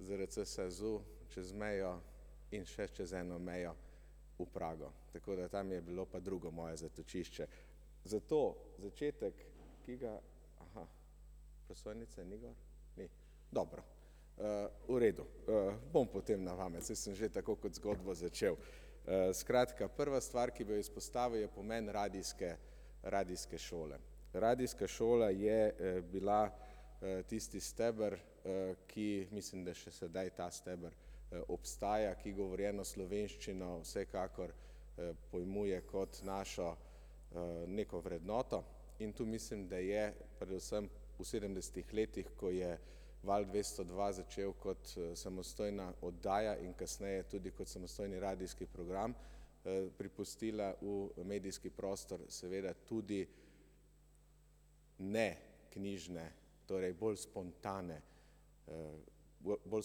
ZRC SAZU, čez mejo in še čez eno mejo, v Prago. Tako da tam je bilo pa drugo moje zatočišče. Zato začetek, ki ga ... Prosojnice ni gor? Ni. Dobro. V redu. Bom potem na pamet, saj sem že tako kot zgodbo začel. Skratka prva stvar, ki bi jo izpostavil, je pomen radijske, radijske šole. Radijska šola je bila tisti steber, ki mislim, da še sedaj ta steber obstaja, ki govorjeno slovenščino vsekakor pojmuje kot našo neko vrednoto. In tu mislim, da je predvsem v sedemdesetih letih, ko je Val dvesto dva začel kot samostojna oddaja in kasneje tudi kot samostojni radijski program, pripustila v medijski prostor seveda tudi neknjižne, torej bolj spontane, bolj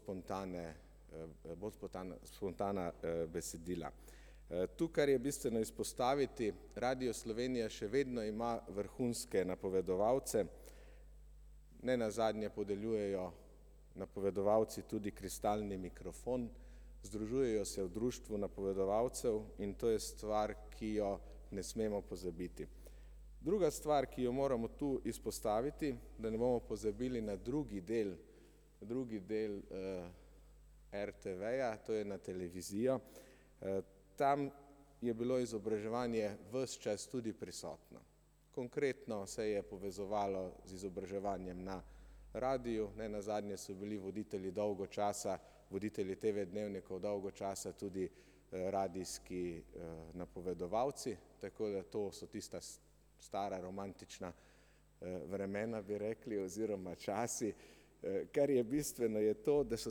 spontane, bolj spotana spontana besedila. To, kar je bistveno izpostaviti, Radio Slovenija še vedno ima vrhunske napovedovalce. Nenazadnje podeljujejo napovedovalci tudi kristalni mikrofon, združujejo se v društvu napovedovalcev in to je stvar, ki jo ne smemo pozabiti. Druga stvar, ki jo moramo tu izpostaviti, da ne bomo pozabili na drugi del, drugi del RTV-ja, to je na televizijo. Tam je bilo izobraževanje ves čas tudi prisotno. Konkretno se je povezovalo z izobraževanjem na radiu, nenazadnje so bili voditelji dolgo časa, voditelji TV dnevnikov, dolgo časa tudi radijski napovedovalci, tako da to so tista stara romantična vremena, bi rekli, oziroma časi. Kar je bistveno, je to, da so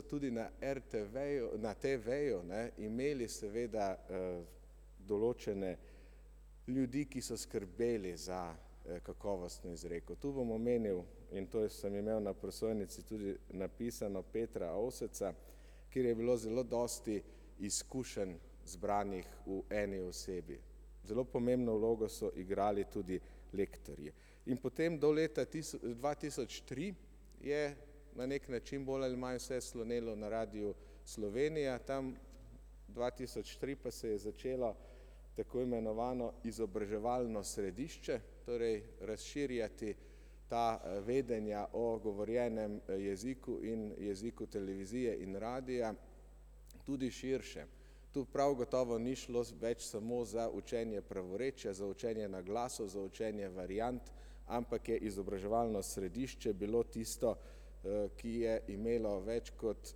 tudi na RTV-ju, na TV-ju, ne, imeli seveda določene ljudi, ki so skrbeli za kakovostno izreko. Tu bom omenil, in to sem imel na prosojnici tudi napisano, [ime in priimek], kjer je bilo zelo dosti izkušenj zbranih v eni osebi. Zelo pomembno vlogo so igrali tudi lektorji. In potem do leta dva tisoč tri je na neki način, bolj ali manj, vse slonelo na Radiu Slovenija, tam dva tisoč tri pa se je začelo tako imenovano izobraževalno središče, torej razširjati ta vedenja o govorjenem jeziku in jeziku televizije in radia tudi širše. Tu prav gotovo ni šlo več samo za učenje pravorečja, za učenje glasov, za učenje variant, ampak je izobraževalno središče bilo tisto, ki je imelo več kot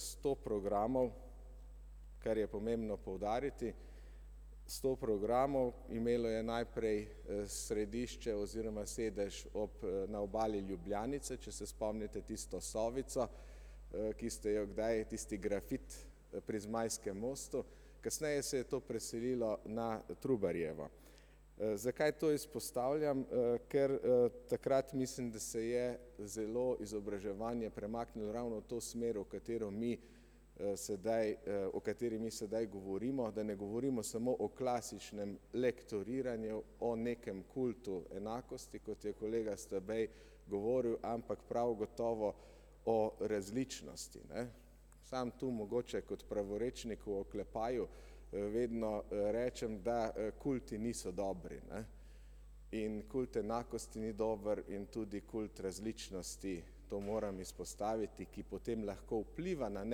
sto programov, kar je pomembno poudariti. Sto programov, imelo je najprej središče oziroma sedež ob na obali Ljubljanice, če se spomnite tisto sovico, ki ste jo kdaj, tisti grafit pri Zmajskem mostu, kasneje se je to preselilo na Trubarjevo. Zakaj to izpostavljam, ker takrat mislim, da se je zelo izobraževanje premaknilo ravno v to smer, v katero mi sedaj o kateri mi sedaj govorimo, da ne govorimo samo o klasičnem lektoriranju, o nekem kultu enakosti, kot je kolega Stabej govoril, ampak prav gotovo o različnosti, ne. Samo to mogoče kot pravorečnik v oklepaju vedno rečem, da kulti niso dobri, ne. In kult enakosti ni dober in tudi kult različnosti, to moram izpostaviti, ki potem lahko vpliva na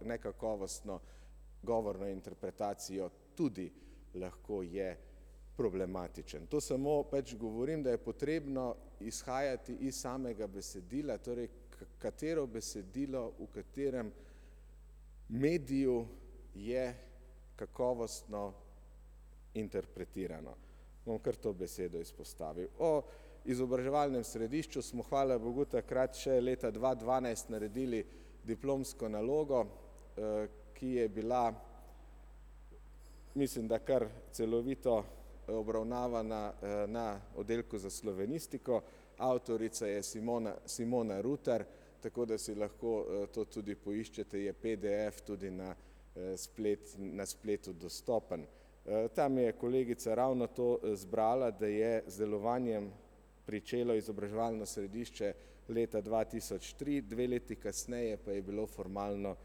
nekakovostno govorno interpretacijo, tudi lahko je problematičen. To samo pač govorim, da je potrebno izhajati iz samega besedila, torej katero besedilo, v katerem mediju je kakovostno interpretirano. Bom kar to besedo izpostavil. O izobraževalnem središču smo, hvala bogu, takrat še leta dva dvanajst naredili diplomsko nalogo, ki je bila, mislim, da kar celovito obravnavana na Oddelku za slovenistiko, avtorica je [ime in priimek] , tako da si lahko to tudi poiščete, je PDF tudi na na spletu dostopen. Tam je kolegica ravno to zbrala, da je z delovanjem pričelo izobraževalno središče leta dva tisoč tri, dve leti kasneje pa je bilo formalno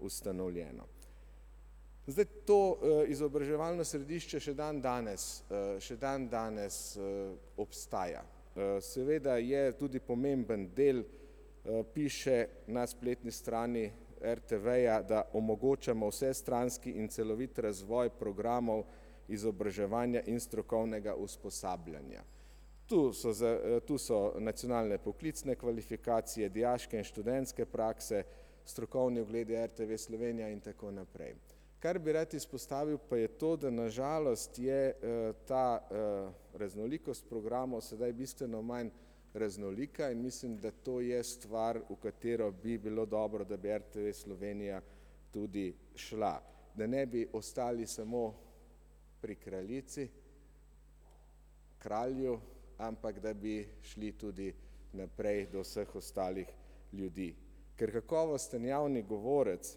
ustanovljeno. Zdaj to izobraževalno središče še dandanes še dandanes obstaja, seveda je tudi pomemben del, piše na spletni strani RTV-ja, da omogočamo vsestranski in celovit razvoj programov, izobraževanja in strokovnega usposabljanja. Tu so za tu so nacionalne poklicne kvalifikacije, dijaške in študentske prakse, strokovni ogledi RTV Slovenija in tako naprej. Kar bi rad izpostavil, pa je to, da na žalost je ta raznolikost programov sedaj bistveno manj raznolika in mislim, da to je stvar, v katero bi bilo dobro, da bi RTV Slovenija tudi šla. Da ne bi ostali samo pri kraljici, kralju, ampak da bi šli tudi naprej do vseh ostalih ljudi. Ker kakovosten javni govorec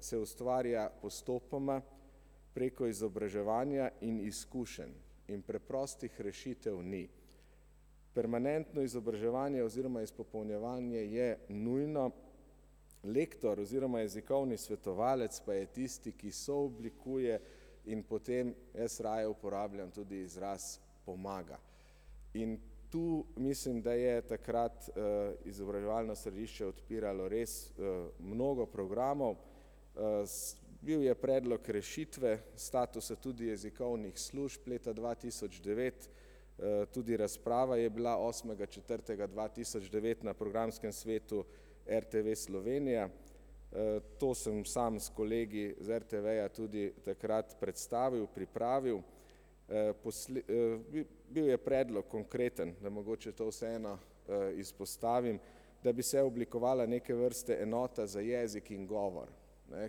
se ustvarja postopoma, preko izobraževanja in izkušenj in preprostih rešitev ni. Permanentno izobraževanje oziroma izpopolnjevanje je nujno, lektor oziroma jezikovni svetovalec pa je tisti, ki sooblikuje, in potem jaz raje uporabljam tudi izraz pomaga. In tu mislim, da je takrat izobraževalno središče odpiralo res mnogo programov. Bil je predlog rešitve, statusa tudi jezikovnih služb, leta dva tisoč devet, tudi razprava je bila osmega četrtega dva tisoč devet na Programskem svetu RTV Slovenija. To sem sam s kolegi z RTV-ja tudi takrat predstavil, pripravil. bil je predlog, konkreten, da mogoče to vseeno izpostavim, da bi se oblikovala neke vrste enota za jezik in govor, ne,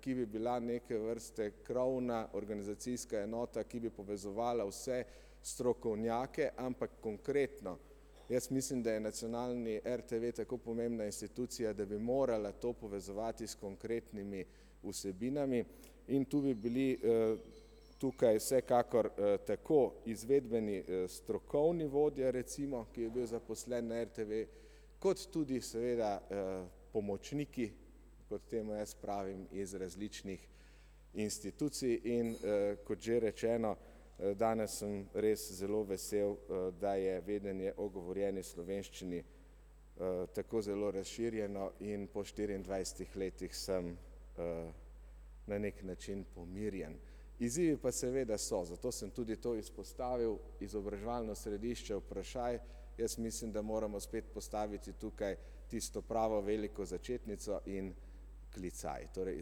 ki bi bila neke vrste krovna organizacijska enota, ki bi povezovala vse strokovnjake, ampak konkretno. Jaz mislim, da je nacionalni RTV tako pomembna institucija, da bi morala to povezovati s konkretnimi vsebinami in tu bi bili tukaj vsekakor tako izvedbeni strokovni vodja recimo, ki je bil zaposlen na RTV, kot tudi seveda pomočniki, kot temu jaz pravim, iz različnih institucij, in kot že rečeno, danes sem res zelo vesel, da je vedenje o govorjeni slovenščini tako zelo razširjeno in po štiriindvajsetih letih sem na neki način pomirjen. Izzivi pa seveda so, zato sem tudi to izpostavil, izobraževalno središče vprašaj, jaz mislim, da moramo spet postaviti tukaj tisto pravo veliko začetnico in klicaj. Torej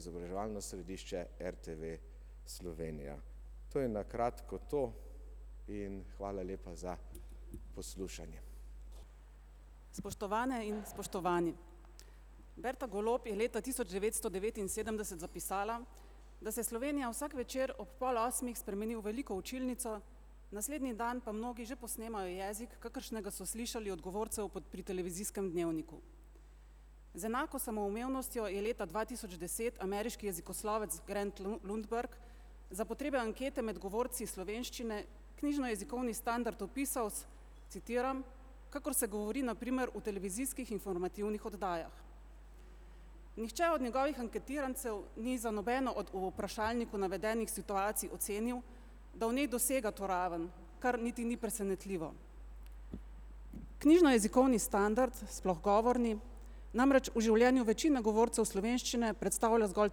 izobraževalno središče RTV Slovenija. To je na kratko to. In hvala lepa za poslušanje. Spoštovane in spoštovani, [ime in priimek] je leta tisoč devetsto devetinsedemdeset zapisala, da se Slovenija vsak večer ob pol osmih spremeni v veliko učilnico, naslednji dan pa mnogi že posnemajo jezik, kakršnega so slišali od govorcev po pri Televizijskem dnevniku. Z enako samoumevnostjo je leta dva tisoč deset ameriški jezikoslovec [ime in priimek] za potrebe ankete med govorci slovenščine knjižnojezikovni standard opisal, citiram, kakor se govori na primer v televizijskih informativnih oddajah. Nihče od njegovih anketirancev ni za nobeno od v vprašalniku navedenih situacij ocenil, da v njej dosega to raven, kar niti ni presenetljivo. Knjižnojezikovni standard, sploh govorni, namreč v življenju večina govorcev slovenščine predstavlja zgolj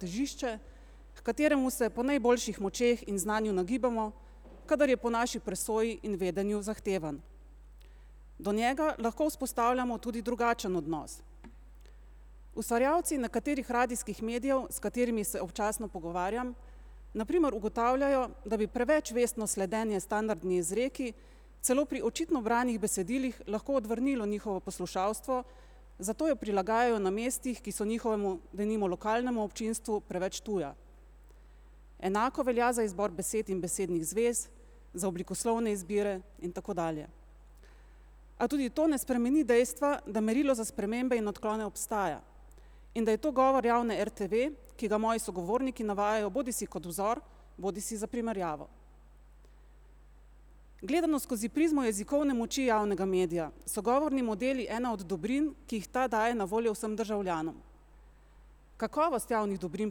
težišče, h kateremu se po najboljših močeh in znanju nagibamo, kadar je po naši presoji in vedenju zahtevan. Do njega lahko vzpostavljamo tudi drugačen odnos. Ustvarjalci nekaterih radijskih medijev, s katerimi se občasno pogovarjam, na primer ugotavljajo, da bi preveč vestno sledenje standardni izreki celo pri očitno branih besedilih lahko odvrnilo njihovo poslušalstvo, zato jo prilagajajo na mestih, ki so njihovemu, denimo lokalnemu občinstvu preveč tuja. Enako velja za izbor besed in besednih zvez, za oblikoslovne izbire in tako dalje. A tudi to ne spremeni dejstva, da merilo za spremembe in odklone obstaja in da je to govor javne RTV, ki ga moji sogovorniki navajajo bodisi kot vzor bodisi za primerjavo. Gledano skozi prizmo jezikovne moči javnega medija, so govorni modeli ena od dobrin, ki jih ta daje na voljo vsem državljanom. Kakovost javnih dobrin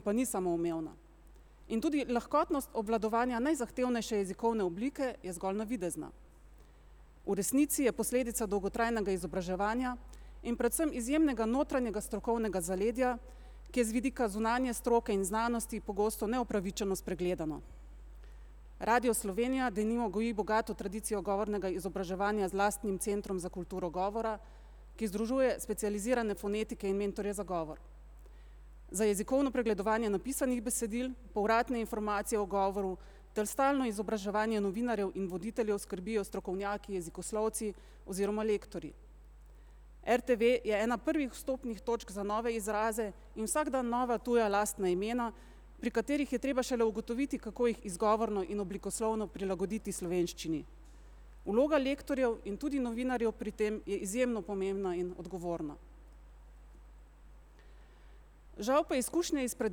pa ni samoumevna. In tudi lahkotnost obvladovanja najzahtevnejše jezikovne oblike je zgolj navidezna. V resnici je posledica dolgotrajnega izobraževanja in predvsem izjemnega notranjega strokovnega zaledja, ki je z vidika zunanje stroke in znanosti pogosto neupravičeno spregledano. Radio Slovenija denimo goji bogato tradicijo govornega izobraževanja z lastnim centrom za kulturo govora, ki združuje specializirane fonetike in mentorje za govor. Za jezikovno pregledovanje napisanih besedil, povratne informacije o govoru ter stalno izobraževanje novinarjev ter voditeljev skrbijo strokovnjaki jezikoslovci oziroma lektorji. RTV je ena prvih vstopnih točk za nove izraze in vsak dan nova tuja lastna imena, pri katerih je treba šele ugotoviti, kako jih izgovorno in oblikovno prilagoditi slovenščini. Vloga lektorjev in tudi novinarjev pri tem je izjemno pomembna in odgovorna. Žal pa izkušnje izpred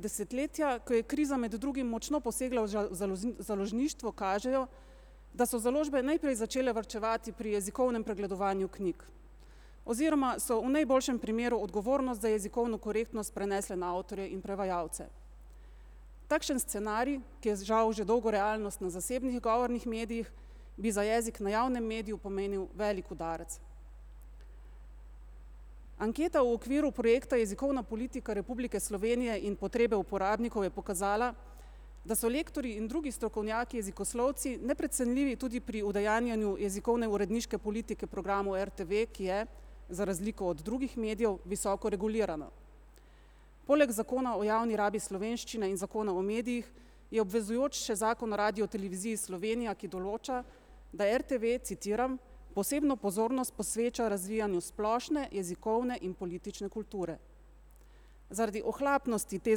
desetletja, ko je kriza med drugim močno posegla v založništvo, kažejo, da so založbe najprej začele varčevati pri jezikovnem pregledovanju knjig. Oziroma so v najboljšem primeru odgovornost za jezikovno korektnost prenesle na avtorje in prevajalce. Takšen scenarij, ki je žal že dolgo realnost na zasebnih govornih medijih, bi za jezik na javnem mediju pomenil velik udarec. Anketa v okviru projekta Jezikovna politika Republike Slovenije in potrebe uporabnikov je pokazala, da so lektorji in drugi strokovnjaki jezikoslovci neprecenljivi tudi pri udejanjanju jezikovne uredniške politike programu RTV, ki je za razliko od drugih medijev visoko regulirana. Poleg Zakona o javni rabi slovenščine in Zakona o medijih je obvezujoč še Zakon o Radioteleviziji Slovenija, ki določa, da RTV, citiram: "posebno pozornost posveča razvijanju splošne jezikovne in politične kulture". Zaradi ohlapnosti te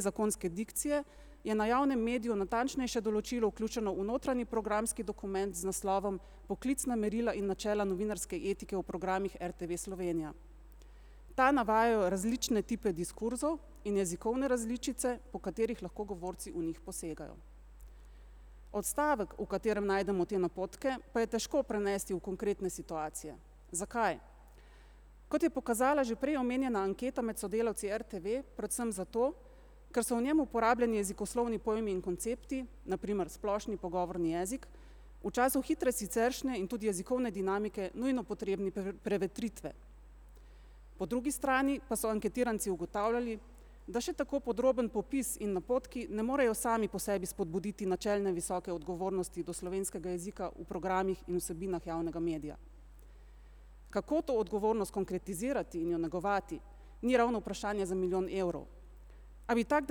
zakonske dikcije je na javnem mediju natančnejše določilo vključeno v notranji programski dokument, z naslovom Poklicna merila in načela novinarske etike v programih RTV Slovenija. Ta navajajo različne tipe diskurzov in jezikovne različice, po katerih lahko govorci v njih posegajo. Odstavek, v katerem najdemo te napotke, pa je težko prenesti v konkretne situacije. Zakaj? Kot je pokazala že prej omenjena anketa med sodelavci RTV predvsem zato, ker so v njem uporabljeni jezikoslovni pojmi in koncepti, na primer splošni pogovorni jezik, v času hitre siceršnje in tudi jezikovne dinamike nujno potrebni prevetritve. Po drugi strani pa so anketiranci ugotavljali, da še tako podroben popis in napotki ne morejo sami po sebi spodbuditi načelne visoke odgovornosti do slovenskega jezika v programih in vsebinah javnega medija. Kako to odgovornost konkretizirati in jo negovati? Ni ravno vprašanje za milijon evrov. A bi tako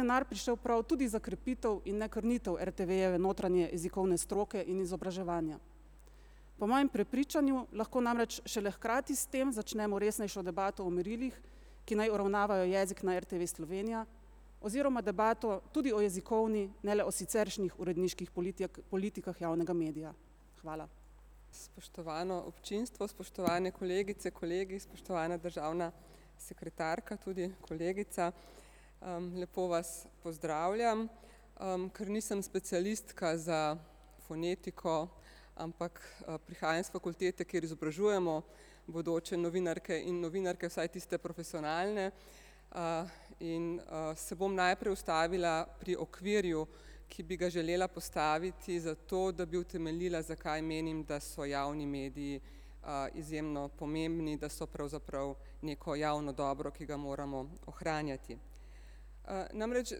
denar prišel prav tudi za krepitev in ne krnitev RTV-jeve notranje jezikovne stroke in izobraževanja? Po mojem prepričanju lahko namreč šele hkrati s tem začnemo resnejšo debato o merilih, ki naj uravnavajo jezik na RTV Slovenija oziroma debato tudi o jezikovni, ne le o siceršnjih uredniških politijak, politikah javnega medija. Hvala. Spoštovano občinstvo, spoštovane kolegice, kolegi, spoštovana državna sekretarka, tudi kolegica, lepo vas pozdravljam. Ker nisem specialistka za fonetiko, ampak prihajam s fakultete, kjer izobražujemo bodoče novinarke in novinarke, vsaj tiste profesionalne, in se bom najprej ustavila pri okvirju, ki bi ga želela postaviti zato, da bi utemeljila, zakaj menim, da so javni mediji izjemno pomembni, da so pravzaprav neko javno dobro, ki ga moramo ohranjati. Namreč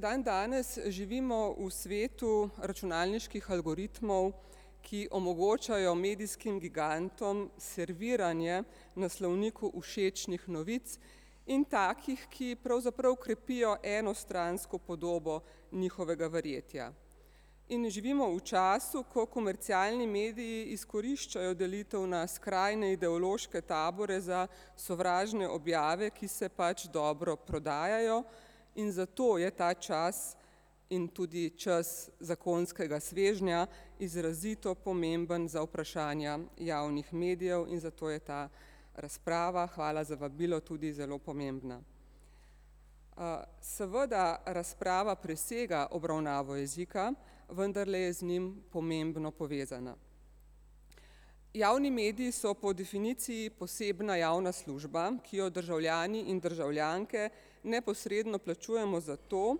dandanes živimo v svetu računalniških algoritmov, ki omogočajo medijskim gigantom serviranje naslovniku všečnih novic, in takih, ki pravzaprav krepijo enostransko podobo njihovega verjetja. In živimo v času, ko komercialni mediji izkoriščajo delitev na skrajne ideološke tabore za sovražne objave, ki se pač dobro prodajajo, in zato je ta čas in tudi čas zakonskega svežnja izrazito pomemben za vprašanja javnih medijev, in zato je ta razprava, hvala za vabilo, tudi zelo pomembna. Seveda razprava presega obravnavo jezika, vendarle je z njim pomembno povezana. Javni mediji so po definiciji posebna javna služba, ki jo državljani in državljanke neposredno plačujemo zato,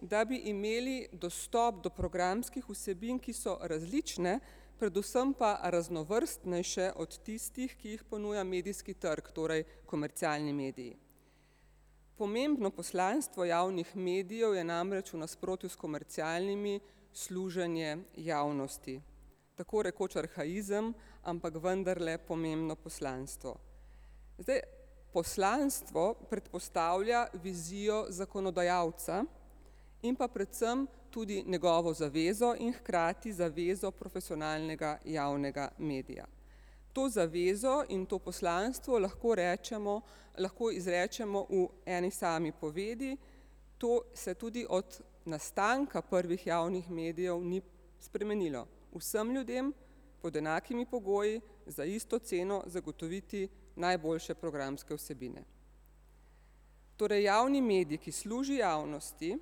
da bi imeli dostop do programskih vsebin, ki so različne, predvsem pa raznovrstnejše od tistih, ki jih ponuja medijski trg, torej komercialni mediji. Pomembno poslanstvo javnih medijev je namreč, v nasprotju s komercialnimi, služenje javnosti. Tako rekoč arhaizem, ampak vendarle pomembno poslanstvo. Zdaj poslanstvo predpostavlja vizijo zakonodajalca in pa predvsem tudi njegovo zavezo in hkrati zavezo profesionalnega javnega medija. To zavezo in to poslanstvo, lahko rečemo, lahko izrečemo v eni sami povedi. To se tudi od nastanka prvih javnih medijev ni spremenilo. Vsem ljudem, pod enakimi pogoji, za isto ceno zagotoviti najboljše programske vsebine. Torej javni medij, ki služi javnosti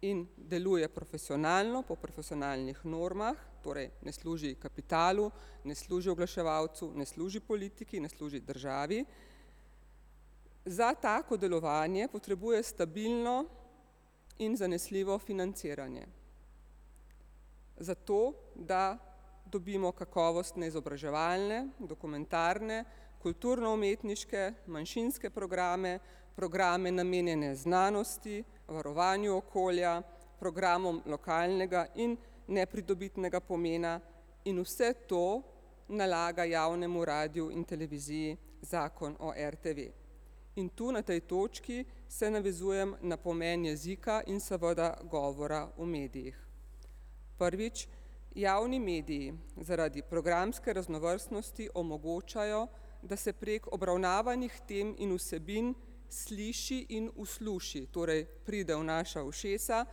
in deluje profesionalno, po profesionalnih normah, torej ne služi kapitalu, ne služi oglaševalcu, ne služi politiki, ne služi državi. Za tako delovanje potrebuje stabilno in zanesljivo financiranje. Zato da dobimo kakovostne izobraževalne, dokumentarne, kulturno-umetniške, manjšinske programe, programe, namenjene znanosti, varovanju okolja, programom lokalnega in nepridobitnega pomena, in vse to nalaga javnemu radiju in televiziji zakon o RTV. In tu na tej točki se navezujem na pomen jezika in seveda govora v medijih. Prvič, javni mediji zaradi programske raznovrstnosti omogočajo, da se prek obravnavanih tem in vsebin sliši in usluši, torej pride v naša ušesa,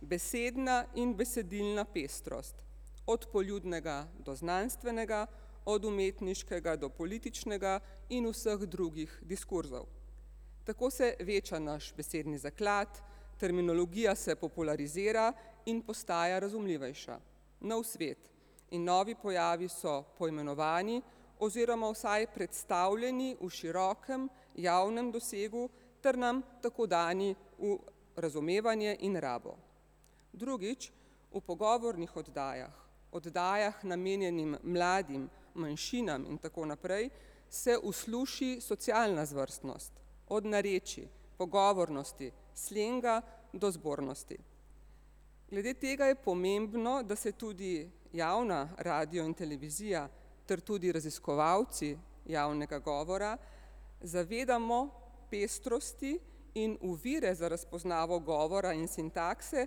besedna in besedilna pestrost, od poljudnega do znanstvenega, od umetniškega do političnega in vseh drugih diskurzov. Tako se veča naš besedni zaklad, terminologija se popularizira in postaja razumljivejša. Nov svet in novi pojavi so poimenovani, oziroma vsaj predstavljeni v širokem, javnem dosegu ter nam tako dani v razumevanje in rabo. Drugič, v pogovornih oddajah, oddajah, namenjenim mladim, manjšinam in tako naprej, se usluši socialna zvrstnost - od narečij, pogovornosti, slenga do zbornosti. Glede tega je pomembno, da se tudi javna radio in televizija ter tudi raziskovalci javnega govora zavedamo pestrosti in ovire za razpoznavo govora in sintakse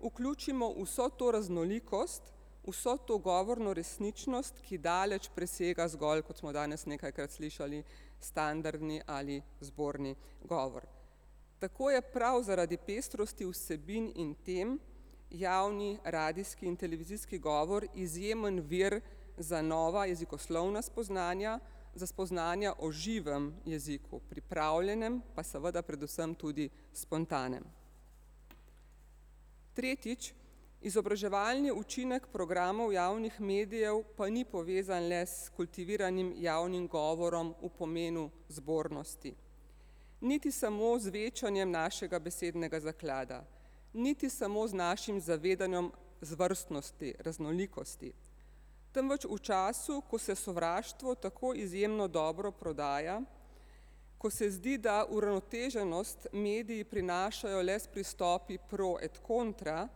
vključimo vso to raznolikost, vso to govorno resničnost, ki daleč presega zgolj, kot smo danes nekajkrat slišali, standardni ali zborni govor. Tako je prav zaradi pestrosti vsebin in tem javni radijski in televizijski govor izjemen vir za nova jezikoslovna spoznanja, za spoznanja o živem jeziku, pripravljenem pa seveda predvsem tudi spontanem. Tretjič, izobraževalni učinek programov javnih medijev pa ni povezan le s kultiviranim javnim govorom v pomenu zbornosti. Niti samo z večanjem našega besednega zaklada, niti samo z našim zavedanjem zvrstnosti, raznolikosti. Temveč v času, ko se sovraštvo tako izjemno dobro prodaja, ko se zdi, da uravnoteženost mediji prinašajo le s pristopi pro et kontra,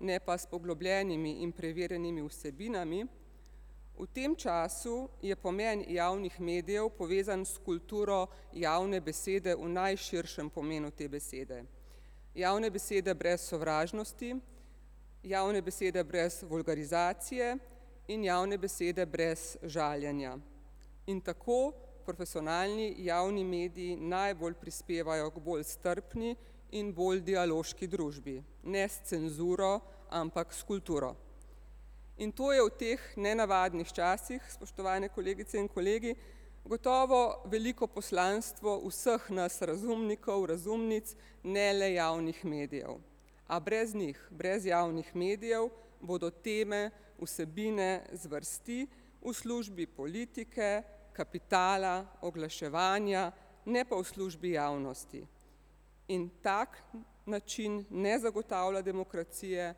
ne pa s poglobljenimi in preverjenimi vsebinami. V tem času je pomen javnih medijev povezan s kulturo javne besede v najširšem pomenu te besede. Javne besede brez sovražnosti, javne besede brez vulgarizacije in javne besede brez žaljenja. In tako profesionalni javni mediji najbolj prispevajo k bolj strpni in bolj dialoški družbi. Ne s cenzuro, ampak s kulturo. In to je v teh nenavadnih časih, spoštovane kolegice in kolegi, gotovo veliko poslanstvo vseh nas razumnikov, razumnic, ne le javnih medijev. A brez njih, brez javnih medijev bodo teme, vsebine, zvrsti v službi politike, kapitala, oglaševanja, ne pa v službi javnosti. In tak način ne zagotavlja demokracije,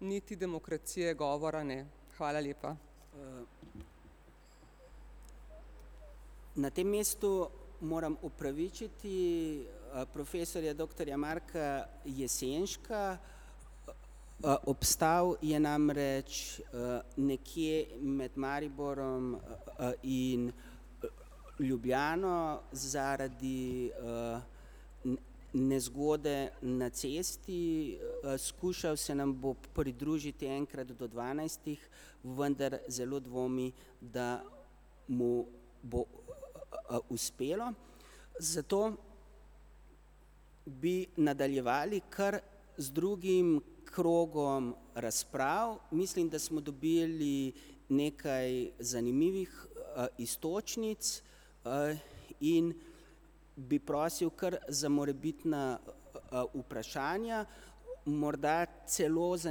niti demokracije govora ne. Hvala lepa. Na tem mestu moram opravičiti profesorja doktorja [ime in priimek] . Obstal je namreč nekje med Mariborom in Ljubljano zaradi nezgode na cesti skušal se nam bo pridružiti enkrat do dvanajstih, vendar zelo dvomi, da mu bo uspelo. Zato bi nadaljevali kar z drugim krogom razprav, mislim, da smo dobili nekaj zanimivih iztočnic in bi prosil kar za morebitna vprašanja. Morda celo za